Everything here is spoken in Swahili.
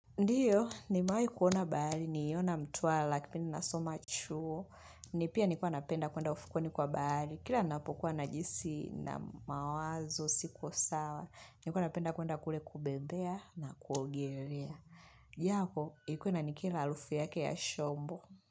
Ndiyo, nimewai kuona bahari, niliona mtwala kipindi nasoma chuo. Ni pia nilikuwa napenda kuenda ufukweni kwa bahari. Kila napokuwa najihisi nina mawazo siko sawa. Nilikuwa napenda kuenda kule kubembea na kuogelea. Japo, ilikuwa inanikera harufu yake ya shombo.